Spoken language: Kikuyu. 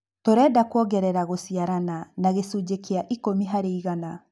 Tũrenda kũongerera gũciarana na gĩcunjĩ kĩa ĩkũmi harĩ igana.